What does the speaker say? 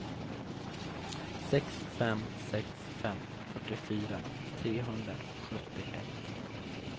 sex fem sex fem fyrtiofyra trehundrasjuttioett